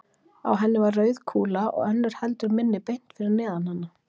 Á henni var rauð kúla og önnur heldur minni beint fyrir neðan hana.